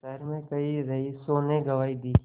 शहर में कई रईसों ने गवाही दी